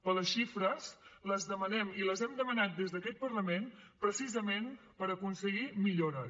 però les xifres les demanem i les hem demanat des d’aquest parlament precisament per aconseguir millores